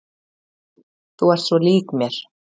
Þú ert svo lík mér!